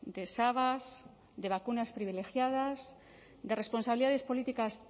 de sabas de vacunas privilegiadas de responsabilidades políticas